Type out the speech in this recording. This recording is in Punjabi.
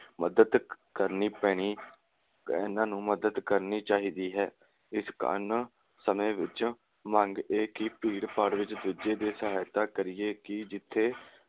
ਮਦਦ ਕਰਨੀ ਪੈਣੀ, ਇਨ੍ਹਾਂ ਨੂੰ ਮਦਦ ਕਰਨੀ ਚਾਹੀਦੀ ਹੈ। ਇਸ ਕਾਰਨ ਸਮੇਂ ਵਿਚ ਮੰਗ ਇਹ ਕਿ ਭੀੜ ਭਾੜ ਵਿਚ ਦੂਜੇ ਦੀ ਸਹਾਇਤਾ ਕਰੀਏ ਕਿ ਜਿਥੇ